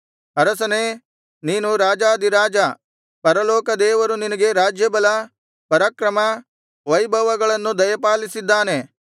ಅರಸನೇ ನೀನು ರಾಜಾಧಿರಾಜ ಪರಲೋಕ ದೇವರು ನಿನಗೆ ರಾಜ್ಯಬಲ ಪರಾಕ್ರಮ ವೈಭವಗಳನ್ನು ದಯಪಾಲಿಸಿದ್ದಾನೆ